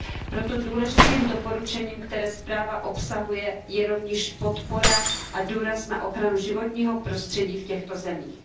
Proto důležitým doporučením, které zpráva obsahuje, je rovněž podpora a důraz na ochranu životního prostředí v těchto zemích.